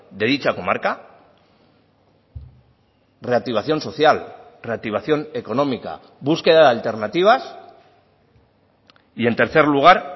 de dicha comarca reactivación social reactivación económica búsqueda de alternativas y en tercer lugar